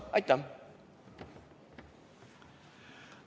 Aitäh!